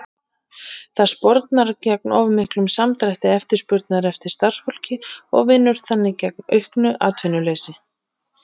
Það spornar gegn of miklum samdrætti eftirspurnar eftir starfsfólki og vinnur þannig gegn auknu atvinnuleysi.